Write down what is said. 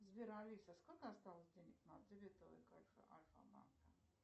сбер алиса сколько осталось денег на дебетовой карте альфа банка